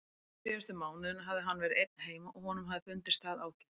Síðustu mánuðina hafði hann verið einn heima og honum hafði fundist það ágætt.